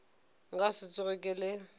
nka se tsoge ke le